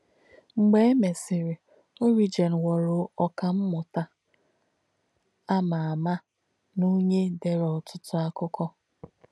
Mgbé è mèsìrī, Origen ghọ̀rọ̀ ọ́kà m̀mùtà à mà àmà nà onyè dèrē ótútú àkụ̀kọ̀.